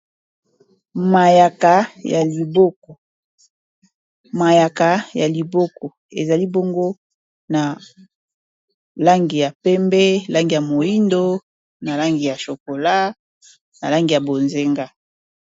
mayaka ya liboko eza libongo na langi ya pembe langi ya moindo na langi ya chokola na langi ya bozenga